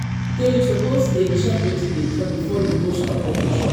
you suppose dey check wetin dey trend before you go stock up your shop